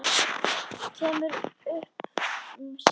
Kemur upp um sig.